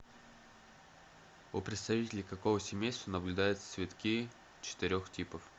у представителей какого семейства наблюдаются цветки четырех типов